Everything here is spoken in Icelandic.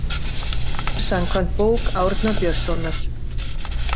Samkvæmt bók Árna Björnssonar.